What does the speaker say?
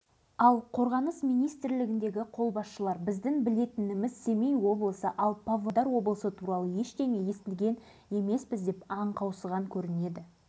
павлодар облыстық атқару комитеті төрағасының орынбасары бұдан үш-төрт ай бұрын сынақ зардабын шегіп әбден титықтаған халықтың мұң-зарын